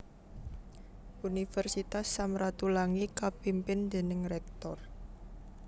Universitas Sam Ratulangi kapimpin déning Rektor